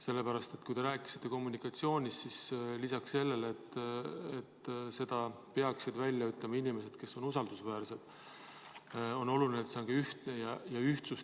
Sellepärast, et kui te rääkisite kommunikatsioonist, siis lisaks sellele, et teavet peaksid andma inimesed, kes on usaldusväärsed, on oluline, et see teave on ka ühtne.